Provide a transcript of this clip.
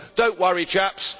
But do not worry, chaps